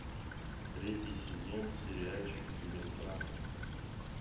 третий сезон сериальчик чужестранка